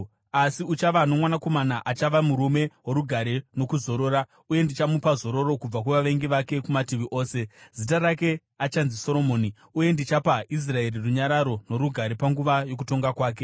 Asi uchava nomwanakomana achava murume worugare nokuzorora, uye ndichamupa zororo kubva kuvavengi vake kumativi ose. Zita rake achanzi Soromoni uye ndichapa Israeri runyararo norugare panguva yokutonga kwake.